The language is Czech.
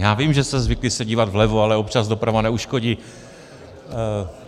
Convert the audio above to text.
Já vím, že jste zvyklý se dívat vlevo, ale občas doprava neuškodí.